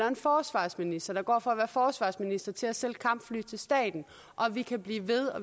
en forsvarsminister går fra at være forsvarsminister til at sælge kampfly til staten og vi kan blive ved